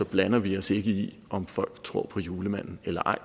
blander vi os ikke i om folk tror på julemanden eller ej